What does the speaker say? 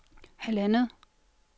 halvandet